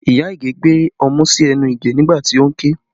Iya Ige gbé ọmú sí ẹnu Ige nígbà tí ó ń ké